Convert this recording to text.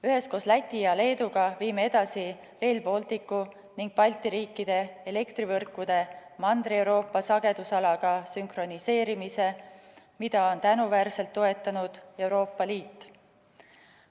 Üheskoos Läti ja Leeduga viime edasi Rail Balticu ning Balti riikide elektrivõrkude Mandri-Euroopa sagedusalaga sünkroniseerimise, mida on tänuväärselt toetanud Euroopa Liit.